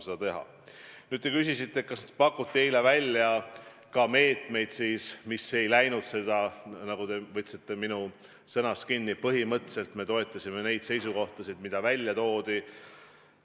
Te küsisite, kas pakuti eile välja ka meetmeid, mis ei läinud selle fraasi alla – te võtsite mul sõnasabast kinni –, et "põhimõtteliselt me toetasime neid seisukohtasid, mis välja toodi".